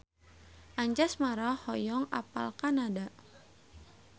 Anjasmara hoyong apal Kanada